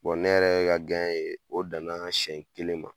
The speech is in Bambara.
Bɔn ne yɛrɛ ka gɛɲɛ yen, o danna siɲɛ kelen ma.